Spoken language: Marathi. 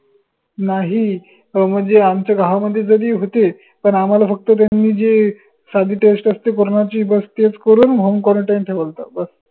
नाही अह म्हणजे आमचे गावमधी जरी होते पन आम्हाला फक्त त्यांनी जे साधी test असते corona ची बस तेच करून home quarantine ठेवलं होत बस